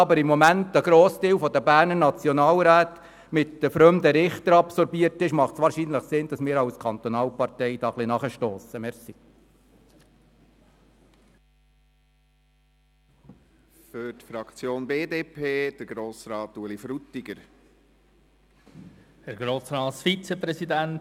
Da aber im Moment ein grosser Teil der Berner Nationalräte mit den «fremden Richtern» absorbiert ist, macht es wahrscheinlich Sinn, dass wir als Kantonalparteien ein bisschen nachstossen.